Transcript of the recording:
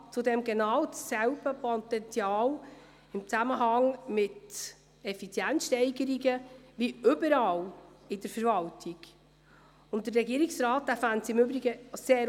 Nun, Herr Grosssrat Brönnimann, die Regierung hält sich an das, was im «Tagblatt des Grossen Rates» steht.